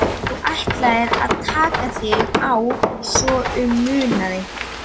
Þú ætlaðir að taka þig á svo að um munaði.